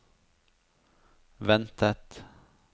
ventet